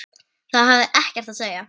Það hafði ekkert að segja.